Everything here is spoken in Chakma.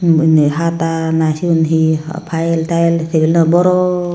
he hata na siyun hi file tile tabilo boron.